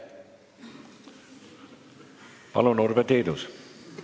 Palun, Urve Tiidus!